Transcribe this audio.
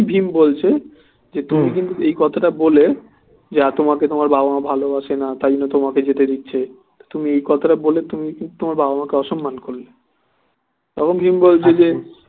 ভীম বলছে যে তোকে কিন্তু এই কথাটা বলে তোমাকে তোমার বাবা মা ভালো বাসে না তাই জন্যে তোমাকে যেতে দিচ্ছে এই কথাটা বলে তুমি কিন্তু তোমার বাবা মাকে অসম্মান করলে তখন ভীম বলছে যে